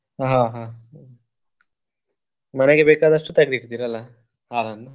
ಹಾ ಹಾ ಹಾ ಮನೆಗೆ ಬೇಕಾದಷ್ಟು ತೆಗದು ಇಡ್ತೀರಲ್ಲ ಹಾಲನ್ನು?